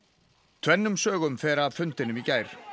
tvennum sögum fer af fundinum í gær